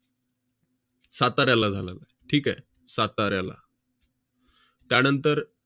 साताऱ्याला झालेला आहे. ठीक आहे? साताऱ्याला त्यानंतर